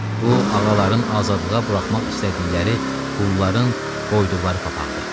Bu ağaların azadlığa buraxmaq istədikləri qulların qoyduqları papağıdır.